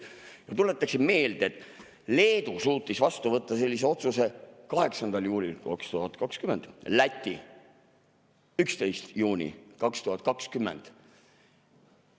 Ma tuletan meelde, et Leedu suutis vastu võtta sellise otsuse 8. juulil 2020, Läti 11. juunil 2020.